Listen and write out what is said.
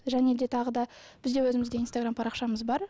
және де тағы да бізде өзімізде инстаграмм парақшамыз бар